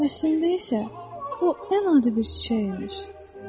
Əslində isə bu adi bir çiçək imiş.